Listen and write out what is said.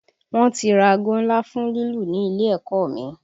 Wọ́n ti ra aago ńlá fún lílù ní ilé ẹ̀kọ́ ọ mi